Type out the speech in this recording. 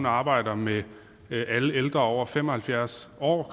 arbejder med alle ældre over fem og halvfjerds år og